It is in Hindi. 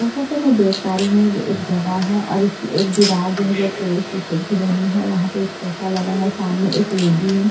जैसा कि मैं देख पा रही हूं एक जगह है और इसकी एक दीवार जो है वो पूरे शीशे की बनी है वहां पे एक सोफा लगा है सामने एक लेडी है।